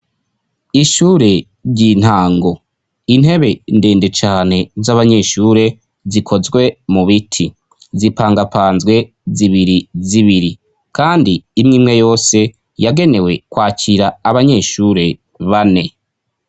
Ishure ry'i ntango intebe ndende cane z'abanyeshure zikozwe mu biti zipangapanzwe zibiri zibiri, kandi imwe imwe yose yagenewe kwakira abanyeshure bane.